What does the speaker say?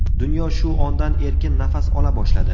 Dunyo shu ondan erkin nafas ola boshladi.